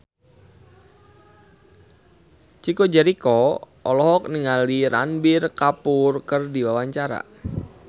Chico Jericho olohok ningali Ranbir Kapoor keur diwawancara